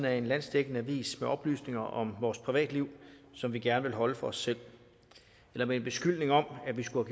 af en landsdækkende avis med oplysninger om vores privatliv som vi gerne vil holde for os selv eller med en beskyldning om at vi skulle